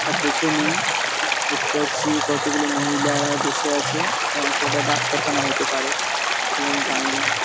তার পেছনে দেখতে পাচ্ছি কতগুলো মহিলারা বসে আছে । এটা হচ্ছে একটা ডাক্তারখানা হতে পারে ঠিক আমি জানি না ।